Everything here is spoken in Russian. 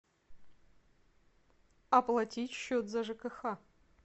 оплатить счет за жкх